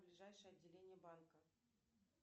ближайшее отделение банка